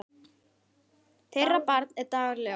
Þeirra barn er Dagur Leó.